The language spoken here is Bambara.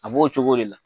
A b'o cogo de la